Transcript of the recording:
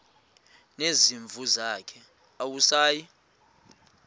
nezimvu zakhe awusayi